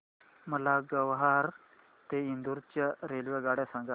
मला ग्वाल्हेर ते इंदूर च्या रेल्वेगाड्या सांगा